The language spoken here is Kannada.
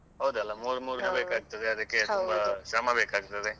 ಹೌದಲ್ಲಾ ಮೂರು ಮೂರು ದಿನ ಅದಕ್ಕೆ ಶ್ರಮ ಬೇಕಾಗ್ತದೆ.